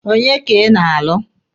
Onye ka ị na-alụ?